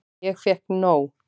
Ég fékk nóg.